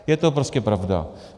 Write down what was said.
Je to prostě pravda.